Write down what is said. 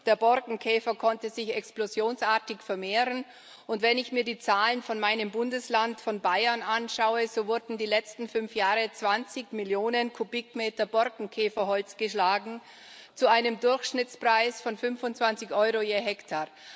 Der Borkenkäfer konnte sich explosionsartig vermehren, und wenn ich mir die Zahlen von meinem Bundesland von Bayern anschaue, so wurden in den letzten fünf Jahren zwanzig Millionen Kubikmeter Borkenkäferholz geschlagen, zu einem Durchschnittspreis von 25 Euro je Hektar.